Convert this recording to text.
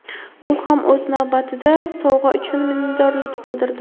U ham o‘z navbatida sovg‘a uchun minnatdorlik bildirdi.